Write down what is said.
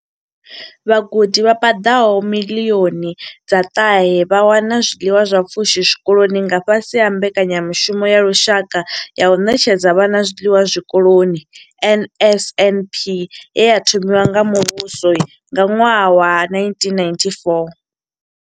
Vhagudi vha paḓaho miḽioni dza ṱahe vha wana zwiḽiwa zwa pfushi zwikoloni nga fhasi ha Mbekanyamushumo ya lushaka ya u ṋetshedza vhana zwiḽiwa zwikoloni NSNP ye ya thomiwa nga muvhuso nga ṅwaha wa 1994.